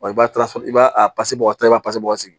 Wa i b'a sɔrɔ i b'a pasi bɔ i b'a bɔ sigi